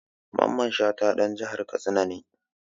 Mamman Shata ɗan jihar Katsina ne.